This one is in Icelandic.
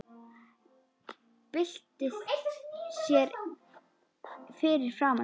Byltir sér fyrir framan mig.